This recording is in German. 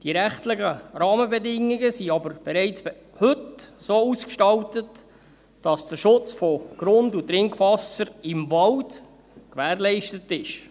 Die rechtlichen Rahmenbedingungen sind aber bereits heute so ausgestaltet, dass der Schutz von Grund- und Trinkwasser im Wald gewährleistet ist.